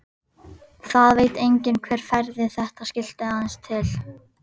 Það veit enginn hver færði þetta skilti aðeins til.